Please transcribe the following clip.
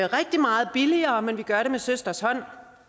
rigtig meget billigere men vi gør det med søsters hånd